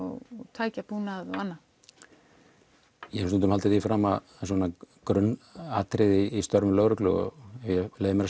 tækjabúnað og annað ég hef nú stundum haldið því fram að svona grunnatriði í störfum lögreglu og ef ég leyfi mér